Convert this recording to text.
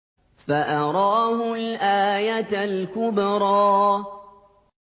فَأَرَاهُ الْآيَةَ الْكُبْرَىٰ